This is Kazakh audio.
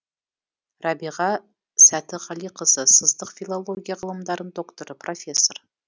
рәбиға сәтіғалиқызы сыздық филология ғылымдарының докторы профессор